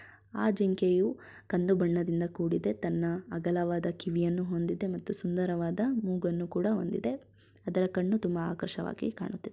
ಆ ಜಿಂಕೆಯು ಕಂದು ಬಣ್ಣದಿಂದ ಕೂಡಿದೆ ತನ್ನ ಅಗಲವಾದ ಕಿವಿಯನ್ನು ಹೊಂದಿದೆ ಮತ್ತು ಸುಂದರವಾದ ಮೂಗನ್ನು ಹೊಂದಿದೆ ಅದರ ಕಣ್ಣು ತುಂಬಾ ಆಕರ್ಷವಾಗಿ ಕಾಣುತ್ತಿದೆ.